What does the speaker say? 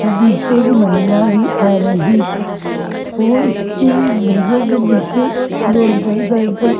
और पीछे एक महिला भी आ रही है और उसके बैसो भैसो के पीछे एक रोड पर साइकिल --